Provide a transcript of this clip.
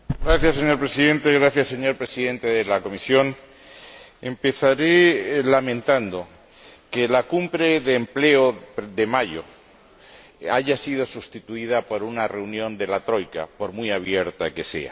Señor Presidente, señor Presidente de la Comisión, empezaré lamentando que la Cumbre sobre Empleo, de mayo, haya sido sustituida por una reunión de la troika, por muy abierta que sea.